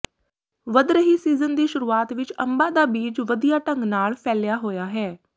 ਵਧ ਰਹੀ ਸੀਜ਼ਨ ਦੀ ਸ਼ੁਰੂਆਤ ਵਿੱਚ ਅੰਬਾਂ ਦਾ ਬੀਜ ਵਧੀਆ ਢੰਗ ਨਾਲ ਫੈਲਿਆ ਹੋਇਆ ਹੈ